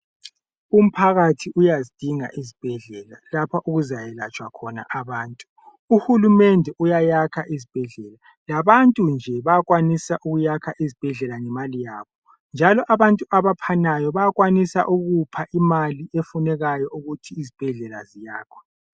Umphakathi uyazidinga izibhedlela lapha okuzayelatshwa khona abantu. UHulumende uyayakha izibhedlela. Labantu nje bayakwanisa ukuyakha izibhedlela ngemali yabo. Njalo abantu abaphanayo bayakwanisa ukupha imali efunekayo ukuthi izibhedlela ziyakhwe.